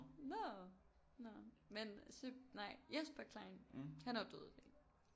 Nå nå men nej Jesper Klein han er jo død i dag